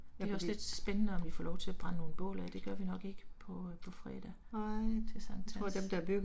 Det er også lidt spændende om vi får lov til at brænde nogle bål af det gør vi nok ikke på på fredag til Sankt Hans